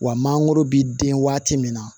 Wa mangoro bɛ den waati min na